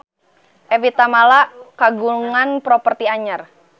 Evie Tamala kagungan properti anyar